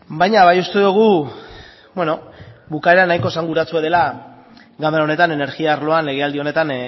baina bai uste dugu bukaera nahiko esanguratsua dela ganbara honetan energia arloan legealdi honetan